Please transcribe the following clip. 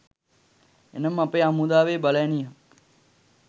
එනම් අපේ හමුදාවේ බලඇණියක්